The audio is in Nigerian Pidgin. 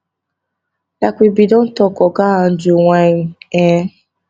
like we bin don tok oga andrew wynne um